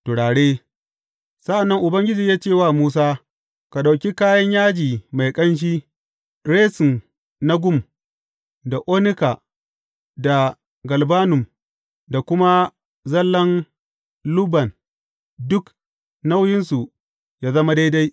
Turare Sa’an nan Ubangiji ya ce wa Musa, Ka ɗauki kayan yaji mai ƙanshi, resin na gum, da onika, da galbanum, da kuma zallan lubban, duk nauyinsu yă zama daidai.